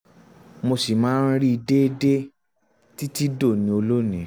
mo ṣì máa ń rí i déédéé um títí dòní olónìí